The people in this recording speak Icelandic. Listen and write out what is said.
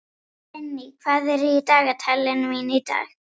Vinný, hvað er í dagatalinu mínu í dag?